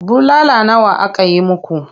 Bulala nawa aka yi muku?